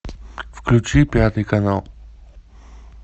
включи пятый канал